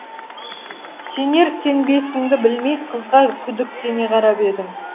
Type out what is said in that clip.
сенер сенбесіңді білмей қызға күдіктене қарап едің